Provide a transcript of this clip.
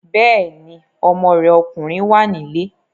Bẹ́ẹ̀ni, ọmọ rẹ̀ ọkùnrin wà nílé